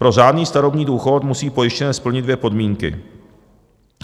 Pro řádný starobní důchod musí pojištěnec splnit dvě podmínky.